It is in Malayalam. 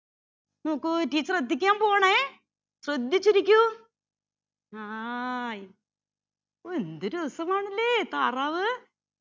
നോക്കൂ teacher എത്തിക്കാൻ പോവുവാണേ ശ്രദ്ധിച്ചിരിക്കൂ ആ ഒ എന്ത് രാസമാണല്ലേ താറാവ്